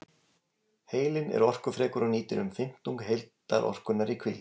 Heilinn er orkufrekur og nýtir um fimmtung heildarorkunnar í hvíld.